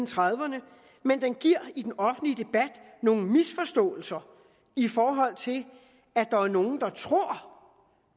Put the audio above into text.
trediverne men den giver i den offentlige debat nogle misforståelser i forhold til at der er nogle der tror